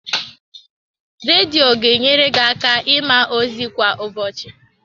Redio ga enyere gị aka ịma ozi kwa ụbọchị.